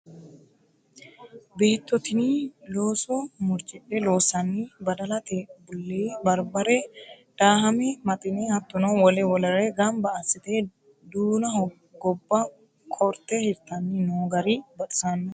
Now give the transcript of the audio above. Beetto tini looso murcidhe loossani badalate bulle ,baribare daahame maxine hattono wole wolere gamba assite duunaho gobba karte hirtanni no gari baxisanoho.